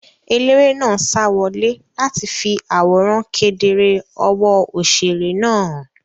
Eléré náà sa wọlé láti fi àwòrán kedere ọwọ́ òṣèré náà hàn.